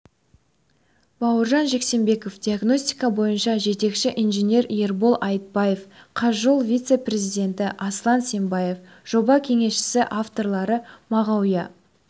бауыржан жексенбеков диагностика бойынша жетекші инженер ербол айтбаев қазжол вице-президенті асылан сембаев жоба кеңесшісі авторлары мағауия